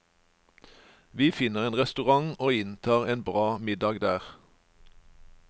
Vi finner en restaurant og inntar en bra middag der.